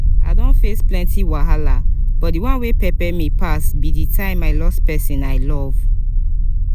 i don face plenty wahala but dey one wey pepe me pass be di time i loss pesin i love.